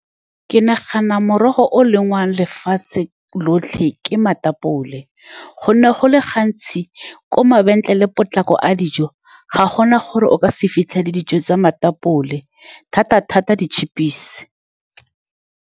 Ke nagana morogo o e leng wa lefatshe lotlhe ke matapole, ka gonne go le gantsi ko mabenkele potlako a dijo ga gona gore o ka se fitlhele dijo tsa matapole, thata-thata di-chip-isi.